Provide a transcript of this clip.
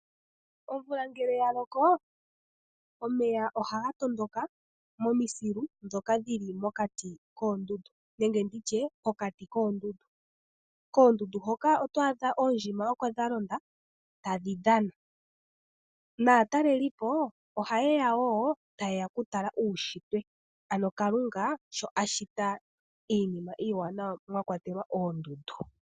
Omvula ngele ya loko omeya ohaga tondoka momisilu ndhoka dhi li mokati koondundu. Oondjima ohadhi kala dha londa koondundu tadhi dhana. Aatalelipo ohaye ya woo ya tale uushitwe nkene Kalunga a shita iinima iiwanawa mwa kwatelwa oondundu.